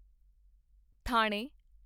ਥਾਣੇ